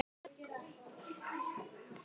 Ef. Heiðar